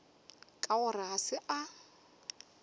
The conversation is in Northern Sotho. ka gore ga se a